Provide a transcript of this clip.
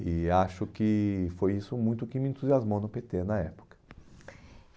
E acho que foi isso muito que me entusiasmou no pê tê na época.